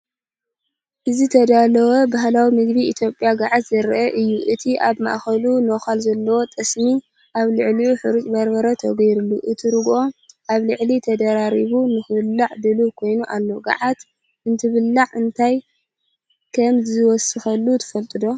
እዚ ዝተዳለወ ባህላዊ ምግቢ ኢትዮጵያ “ገዓት” ዘርኢ እዩ። እቲ ኣብ ማእከሉ ነዃል ዘለዎ ጠስሚ፡ ኣብ ልዕሊኡ ሓርጭን በርበረን ተገይርሉ። እቲ ርግኦ ኣብ ላዕሊ ተደራሪቡ ንኽብላዕ ድሉው ኮይኑ ኣሎ። ገዓት እንትብላዕ እንታይ ከም ዝውሰከሉ ትፈልጡ ዶ?